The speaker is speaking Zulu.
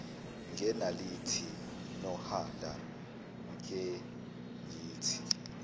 ngenaliti nohala kengithi